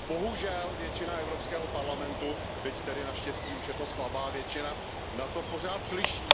Bohužel, většina Evropského parlamentu, byť tedy naštěstí už je to slabá většina, na to pořád slyší.